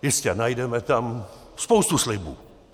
Jistě, najdeme tam spoustu slibů.